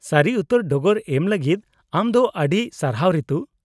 -ᱥᱟᱹᱨᱤ ᱩᱛᱟᱹᱨ ᱰᱚᱜᱚᱨ ᱮᱢ ᱞᱟᱹᱜᱤᱫ ᱟᱢ ᱫᱚ ᱟᱹᱰᱤ ᱥᱟᱨᱦᱟᱣ, ᱨᱤᱛᱩ ᱾